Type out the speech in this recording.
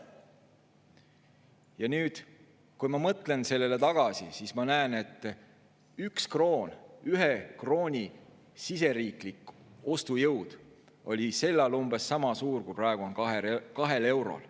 Ja nüüd, kui ma mõtlen sellele tagasi, siis ma näen, et 1 krooni siseriiklik ostujõud oli sel ajal umbes sama suur, kui praegu on 2 eurol.